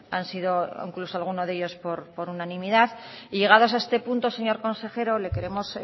han sido incluso alguno de ellos por unanimidad y llegados a este punto señor consejero le queremos